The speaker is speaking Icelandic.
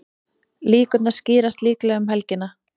Línurnar skýrast líklega um helgina.